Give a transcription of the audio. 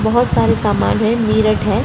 बहोत सारे सामान हैं मीरट है।